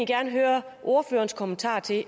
gerne høre ordførerens kommentarer til